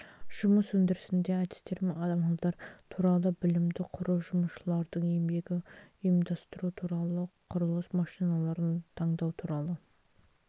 жұмыс өндірісінде әдістер мен амалдар туралы білімді құру жұмысшылардың еңбегін ұйымдастыру туралы құрылыс машиналарын таңдау туралы